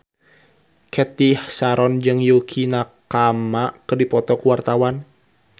Cathy Sharon jeung Yukie Nakama keur dipoto ku wartawan